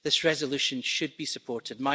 This resolution should be supported.